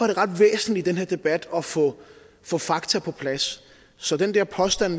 det ret væsentligt i den her debat at få få fakta på plads så den der påstand